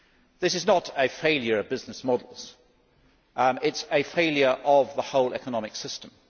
This is not a failure of business models it is a failure of the whole economic system.